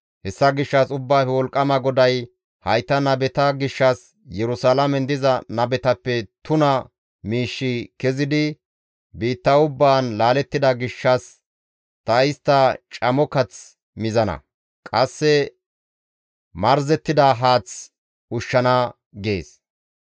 Hessa gishshas Ubbaafe Wolqqama GODAY hayta nabeta gishshas, «Yerusalaamen diza nabetappe tuna miishshi kezidi biitta ubbaan laalettida gishshas ta istta camo kath mizana; qasse marzettida haath ushshana» gees.